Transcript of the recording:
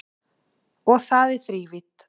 Og það í þrívídd